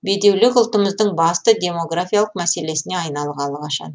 бедеулік ұлтымыздың басты демографиялық мәселесіне айналғалы қашан